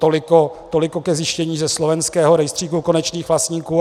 Toliko ke zjištění ze slovenského rejstříku konečných vlastníků.